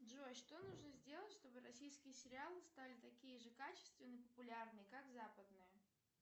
джой что нужно сделать чтобы российские сериалы стали такие же качественные и популярные как западные